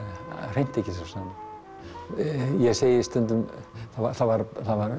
hreint ekki sá sami ég segi stundum það var